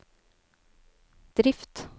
drift